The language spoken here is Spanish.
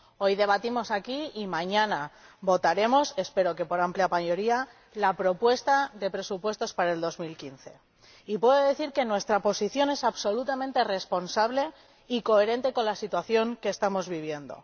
Hoy debatimos aquí y mañana votaremos —espero que por amplia mayoría— el proyecto de presupuesto para 2015, y puedo decir que nuestra posición es absolutamente responsable y coherente con la situación que estamos viviendo.